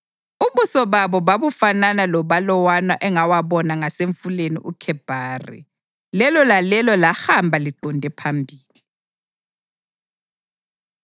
Ubuso bawo babufanana lobalawana engawabona ngasemfuleni uKhebhari. Lelo lalelo lahamba liqonde phambili.